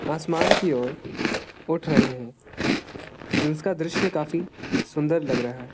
आसमान की और उठ रहें हैं। उसका दृस्य काफी सुन्दर लग रहा है।